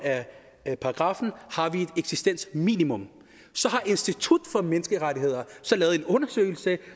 af paragraffen har vi et eksistensminimum så har institut for menneskerettigheder lavet en undersøgelse